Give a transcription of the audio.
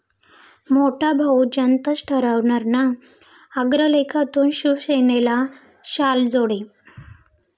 मोठा भाऊ जनताच ठरवणार ना?' अग्रलेखातून शिवसेनेला शालजोडे